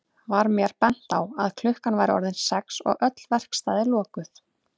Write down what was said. Var mér bent á að klukkan væri orðin sex og öll verkstæði lokuð.